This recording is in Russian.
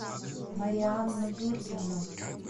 марианну юрьевну